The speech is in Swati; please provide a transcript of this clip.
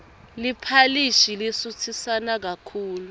liphalishi lisutsisana kakhulu